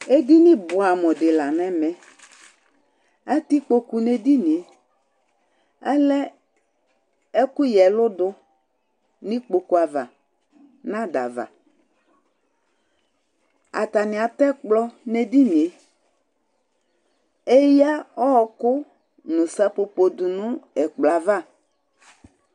Edini buɛ amu di la nu ɛmɛ Atɛ kpokpu nu edini yɛ Alɛ ɛku ya ɛludu nu kpokpu ava nu adava Atani atɛ ɛkplɔ nu edini yɛ Eya ɔwɔku nu sapopo du nu ɛkplɔ yɛ ava